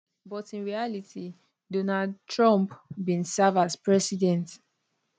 but in reality donald trump bin serve as president